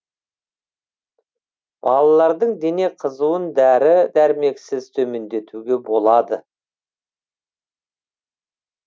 балалардың дене қызуын дәрі дәрмексіз төмендетуге болады